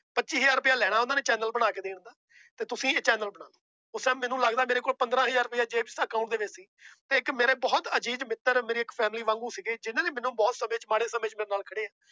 ਪੱਚੀ ਹਜ਼ਾਰ ਰੁਪਇਆ ਲੈਣਾ ਉਹਨਾਂ ਨੇ ਚੈਨਲ ਬਣਾ ਕੇ ਦੇਣ ਦਾ ਤੇ ਤੁਸੀਂ ਇਹ ਚੈਨਲ ਬਣਾਓ ਉਸ time ਮੈਨੂੰ ਲੱਗਦਾ ਮੇਰੇ ਕੋਲ ਪੰਦਰਾਂ ਹਜ਼ਾਰ ਰੁਪਇਆ ਜੇਬ ਚ account ਦੇ ਵਿੱਚ ਸੀ ਇੱਕ ਮੇਰੇ ਬਹੁਤ ਅਜੀਜ਼ ਮਿੱਤਰ ਮੇਰੀ ਇੱਕ family ਵਾਂਗੂ ਸੀਗੇ ਜਿਹਨਾਂ ਨੇ ਮੈਨੂੰ ਬਹੁਤ ਸਮੇਂ ਮਾੜੇ ਸਮੇਂ ਚ ਮੇਰੇ ਨਾਲ ਖੜੇ।